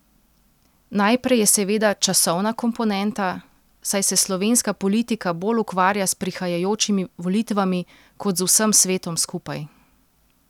Najprej je seveda časovna komponenta, saj se slovenska politika bolj ukvarja s prihajajočimi volitvami kot z vsem svetom skupaj.